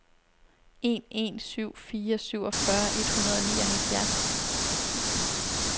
en en syv fire syvogfyrre et hundrede og nioghalvfjerds